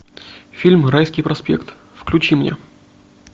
фильм райский проспект включи мне